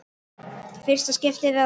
Fyrsta skiptið eða?